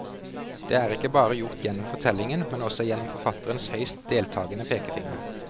Det er ikke bare gjort gjennom fortellingen, men også gjennom forfatterens høyst deltagende pekefinger.